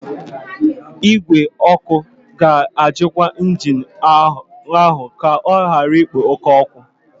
Igwe ọkụ ọkụ ga-ajụkwa injin ahụ ka ọ ghara ikpo oke ọkụ.